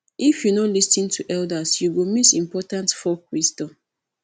if you no lis ten to the elders you go miss important folk wisdom